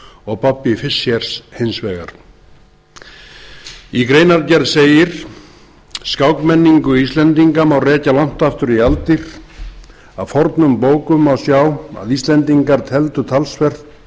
og bobbys fischers hins vegar í greinargerð segir skákmenningu íslendinga má rekja langt aftur í aldir af fornum bókum má sjá að íslendingar tefldu talsvert